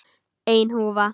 Ein húfa.